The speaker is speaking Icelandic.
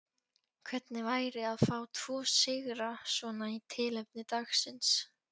Hvernig væri að fá tvo sigra svona í tilefni dagsins?